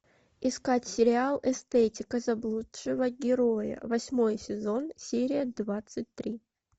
искать сериал эстетика заблудшего героя восьмой сезон серия двадцать три